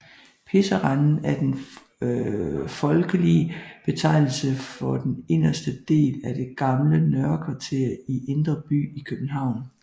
Pisserenden er den folkelige betegnelse for den inderste del af det gamle Nørre Kvarter i Indre By i København